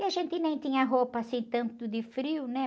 E a gente nem tinha roupa assim tanto de frio, né?